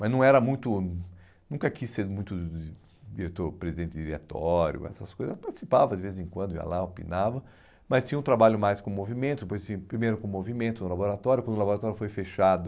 Mas não era muito, nunca quis ser muito diretor, presidente de diretório, essas coisas, participava de vez em quando, ia lá, opinava, mas tinha um trabalho mais com movimento, depois tinha, primeiro com movimento no laboratório, quando o laboratório foi fechado,